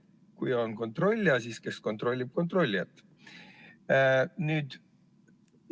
Kui on kontrollija, siis kes kontrollib kontrollijat?